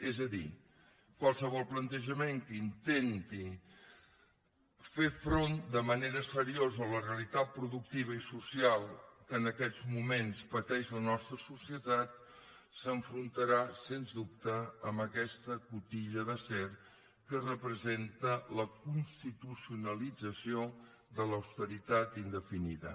és a dir qualsevol plantejament que intenti fer front de manera seriosa a la realitat productiva i social que en aquests moments pateix la nostra societat s’enfrontarà sens dubte amb aquesta cotilla d’acer que representa la constitucionalització de l’austeritat indefinida